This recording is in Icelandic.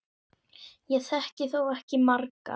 Ég þekki þó ekki margar.